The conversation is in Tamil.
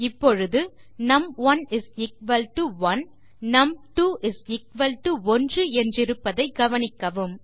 இப்பொழுது நும்1 1 நும்2 1 என்றிருப்பதை கவனிக்கவும்